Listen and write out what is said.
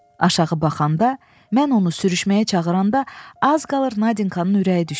Aşağı baxanda, mən onu sürüşməyə çağıranda az qalır Nadinkanın ürəyi düşsün.